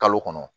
Kalo kɔnɔ